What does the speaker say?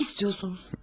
Nə demək istəyirsiniz?